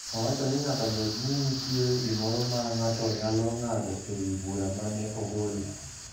Owacho ni nyaka bed ni nitie gimoro ma ng’ato nyalo ng’ado e wi bura ma ne ogolo